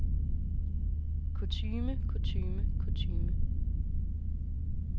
kutyme kutyme kutyme